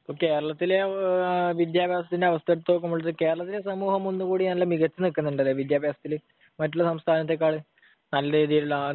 ഇപ്പോൾ കേരളത്തിലെ വിദ്യാഭ്യാസത്തിന്റെ അവസ്ഥ എടുത്തുനോക്കുമ്പോൾ കേരളത്തിലെ സമൂഹം ഒന്നുകൂടി നല്ല മികച്ചുനിൽക്കുന്നുണ്ടല്ലേ വിദ്യാഭ്യാസത്തില്? മറ്റുള്ള സംസ്ഥാനത്തേക്കാൾ? നല്ല രീതിയിലുള്ള ആ